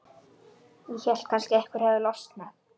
Ég hélt að kannski hefði eitthvað losnað.